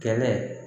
Kɛnɛ